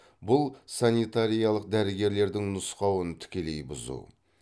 бұл санитариялық дәрігерлердің нұсқауын тікелей бұзу